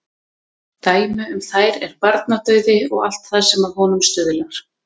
Dæmi um þær er barnadauði og allt það sem að honum stuðlar.